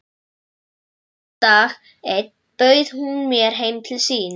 Sunnudag einn bauð hún mér heim til sín.